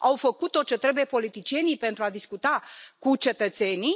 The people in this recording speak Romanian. Au făcut tot ce trebuie politicienii pentru a discuta cu cetățenii?